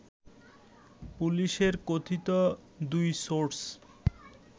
পুলিশের কথিত দুই সোর্স